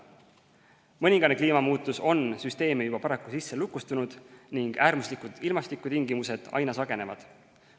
Mõningane kliimamuutus on süsteemi juba paraku sisse lukustunud ning äärmuslikud ilmastikutingimused aina sagenevad.